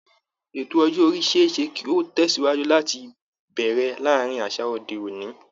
Ètò ọjọ́ orí ṣe é ṣe kí ó tẹ̀sìwájú láti bẹ̀rẹ̀ láàárín àṣà òde òní